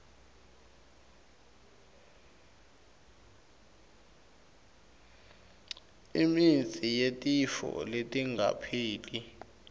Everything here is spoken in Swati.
imitsi yetifo letingapheli